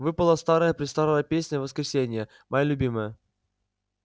выпала старая-престарая песня воскресения моя любимая